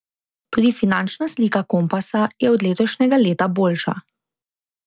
Tudi finančna slika Kompasa je od letošnjega leta boljša.